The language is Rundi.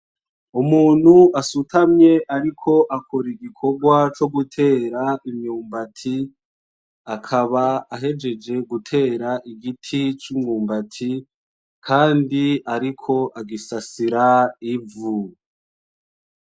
Umuntu asutamye ariko akora igikorwa co gutera imyumbati ,akaba ahejeje gutera igiti cumwumbati Kandi ariko agusasira ivu .